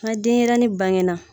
Na denyɛrɛnin bangena